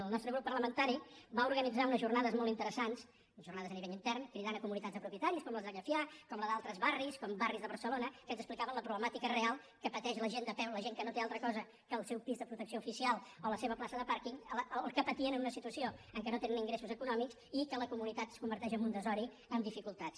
el nostre grup parlamentari va organitzar unes jornades molt interessants jornades a nivell intern cridant comunitats de propietaris com les de llefià com la d’altres barris com barris de barcelona que ens explicaven la problemàtica real que pateix la gent de peu la gent que no té altra cosa que el seu pis de protecció oficial o la seva plaça de pàrquing el que patien en una situació en què no tenen ingressos econòmics i que la comunitat es converteix en un desori amb dificultats